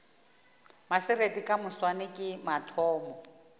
maserati ka moswane ke mathomo